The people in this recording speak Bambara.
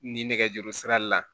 Ni nɛgɛjuru sira la